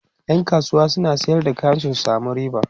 ƴan kasuwa suna Sayar da kaya su samu riba